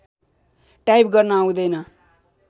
type गर्न आउँदैन